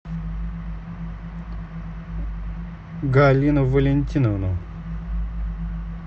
галину валентиновну